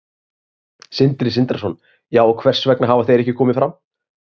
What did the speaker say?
Sindri Sindrason: Já, og hvers vegna hafa þeir ekki komið fram?